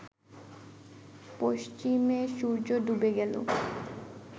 পশ্চিমে সূর্য ডুবে গেলে